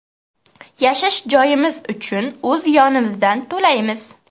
Yashash joyimiz uchun o‘z yonimizdan to‘laymiz.